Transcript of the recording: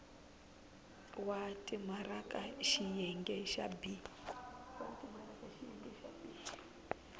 wa timaraka xiyenge xa b